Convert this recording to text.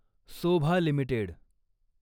Sobha limited